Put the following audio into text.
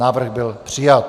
Návrh byl přijat.